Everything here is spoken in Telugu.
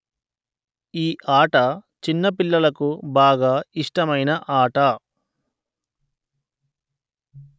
ఈ ఆట చిన్న పిల్లలకు బాగా ఇష్టమైన ఆట